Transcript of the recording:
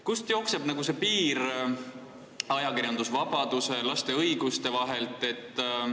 Kust jookseb see piir ajakirjandusvabaduse ja laste õiguste vahelt?